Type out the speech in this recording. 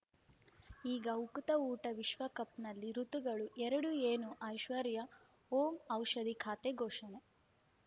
ಈಗ ಉಕುತ ಊಟ ವಿಶ್ವಕಪ್‌ನಲ್ಲಿ ಋತುಗಳು ಎರಡು ಏನು ಐಶ್ವರ್ಯಾ ಓಂ ಔಷಧಿ ಖಾತೆ ಘೋಷಣೆ